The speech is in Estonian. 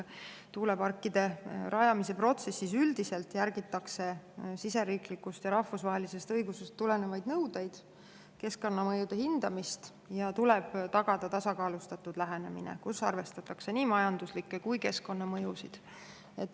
Tuuleparkide rajamise protsessis üldiselt järgitakse siseriiklikust ja rahvusvahelisest õigusest tulenevaid nõudeid, keskkonnamõjude hindamist ja tuleb tagada tasakaalustatud lähenemine, kus arvestatakse nii majanduslikke kui ka keskkonnamõjusid.